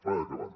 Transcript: vaig acabant